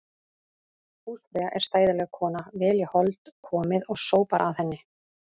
Húsfreyja er stæðileg kona, vel í hold komið og sópar að henni.